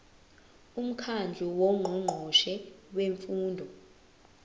umkhandlu wongqongqoshe bemfundo